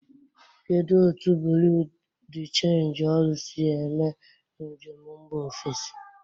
Kedu otu bureau de change ọrụ si eme njem mba ofesi?